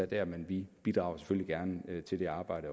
dér men vi bidrager selvfølgelig også gerne til det arbejde